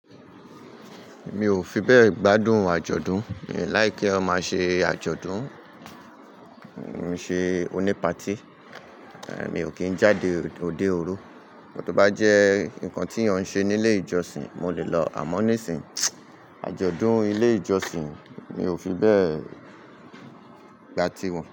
Mi ò fi bẹ́ẹ̀ gbádùn àjọ̀dún, mi o like ki eeyan máa n ṣe àjọ̀dún, ṣe oní patí, mi ò kí n jáde óde òru. But tó bá jẹ́ nǹkan tí èèyàn ń ṣe ní ilé ìjọsìn, mo lè lọ. Àmọ́ nisinyi, àjọ̀dún ilé ìjọsìn mi ò fi bẹ́ẹ̀ gbá tiwọn.